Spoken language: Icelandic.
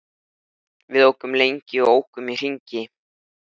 Við ókum lengi og ókum í hringi.